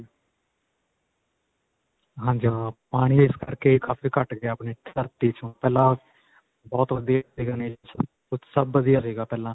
ਹਾਂਜੀ ਹਾਂ ਪਾਣੀ ਇਸ ਕਰਕੇ ਕਾਫੀ ਘੱਟ ਗਿਆ ਆਪਣੀ ਵਿਚੋਂ ਪਹਿਲਾਂ ਬਹੁਤ ਵਧੀਆ ਸੀਗਾ nature ਸੱਬ ਵਧੀਆ ਸੀਗਾ ਪਹਿਲਾਂ.